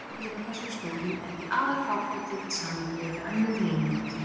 Dýralíf á þessum slóðum er því afar fábrotið í samanburði við önnur meginlönd.